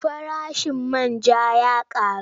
Farashin man ja ya ƙaru.